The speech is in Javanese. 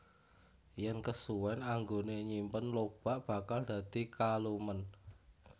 Yen kesuwèn anggone nyimpen lobak bakal dadi kalumen